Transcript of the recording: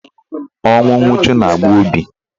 Ọnwụ nwuchu na-agba obi.